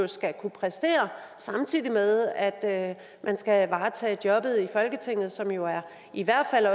skal kunne præstere samtidig med at man skal varetage jobbet i folketinget som jo i hvert fald